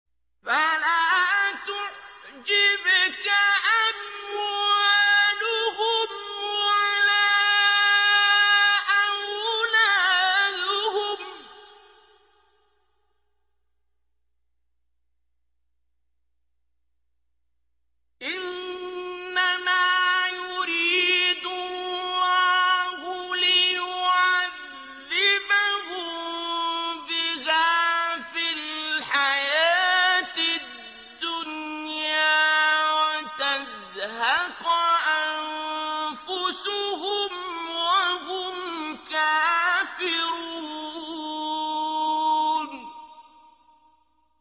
فَلَا تُعْجِبْكَ أَمْوَالُهُمْ وَلَا أَوْلَادُهُمْ ۚ إِنَّمَا يُرِيدُ اللَّهُ لِيُعَذِّبَهُم بِهَا فِي الْحَيَاةِ الدُّنْيَا وَتَزْهَقَ أَنفُسُهُمْ وَهُمْ كَافِرُونَ